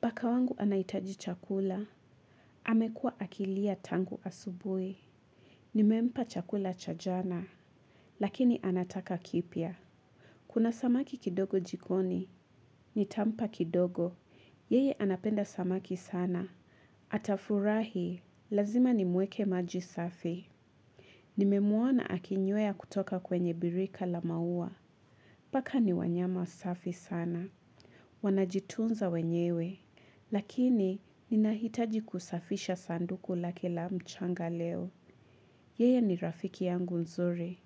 Paka wangu anaitaji chakula, amekua akilia tangu asubui. Nimempa chakula cha jana, lakini anataka kipya. Kuna samaki kidogo jikoni, nitampa kidogo, yeye anapenda samaki sana. Atafurahi, lazima nimweke maji safi. Nimemwona akinywea kutoka kwenye birika la maua. Paka ni wanyama safi sana. Wanajitunza wenyewe. Lakini, ninahitaji kusafisha sanduku lake la mchanga leo. Yeye ni rafiki yangu nzuri.